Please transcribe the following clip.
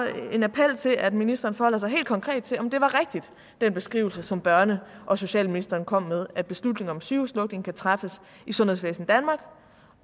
en appel til at ministeren forholder sig helt konkret til om den beskrivelse som børne og socialministeren kom med at beslutninger om sygehuslukninger kan træffes i sundhedsvæsen danmark